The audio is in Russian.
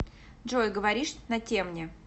джой говоришь на темне